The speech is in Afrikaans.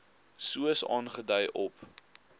soos aangedui op